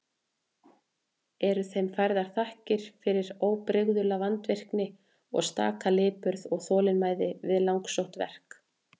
Eru þeim færðar þakkir fyrir óbrigðula vandvirkni og staka lipurð og þolinmæði við langsótt verk.